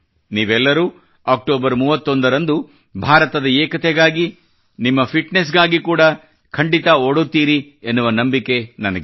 ನೀವೆಲ್ಲರೂ ಅಕ್ಟೋಬರ್ 31 ರಂದು ಭಾರತದ ಏಕತೆಗಾಗಿ ನಿಮ್ಮ ಫಿಟ್ನೆಸ್ ಗಾಗಿ ಕೂಡಾ ಖಂಡಿತಾ ಓಡುತ್ತೀರೆನ್ನುವ ನಂಬಿಕೆ ನನಗಿದೆ